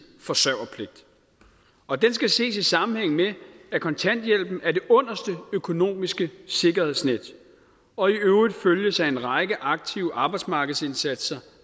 forsørgerpligt og den skal ses i sammenhæng med at kontanthjælpen er det underste økonomiske sikkerhedsnet og i øvrigt følges af en række aktive arbejdsmarkedsindsatser